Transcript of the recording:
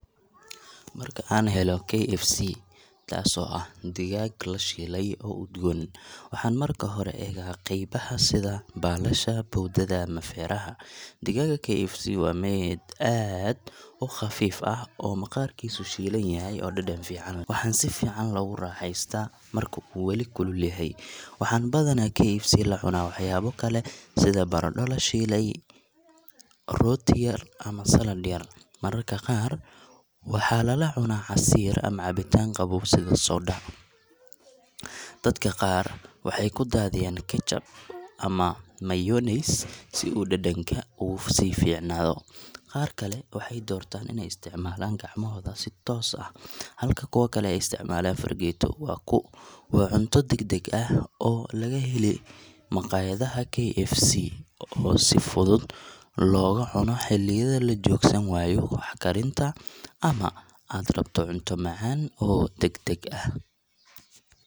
Marka aan helo KFC, taasoo ah digaag la shiilay oo udgoon, waxaan marka hore eegaa qaybaha sida baalasha, bowdada ama feeraha. Digaaga KFC waa mid aad u khafiif ah oo maqaarkiisu shiilan yahay oo dhadhan fiican leh. Waxaa si fiican loogu raaxaystaa marka uu weli kulul yahay. Waxaan badanaa KFC la cunaa waxyaabo kale sida baradho la shiilay , rooti yar, ama salad yar. Mararka qaar waxaa lala cunaa casiir ama cabitaan qabow sida soda. Dadka qaar waxay ku daadiyaan ketchup ama mayonnaise si uu dhadhanka uga sii fiicnaado. Qaar kale waxay doortaan inay isticmaalaan gacmahooda si toos ah, halka kuwo kale ay isticmaalaan fargeeto. Waa cunto deg deg ah oo laga helo maqaayadaha KFC oo si fudud lagu cuno xilliyada la joogsan waayo wax karinta ama aad rabto cunto macaan oo deg deg ah.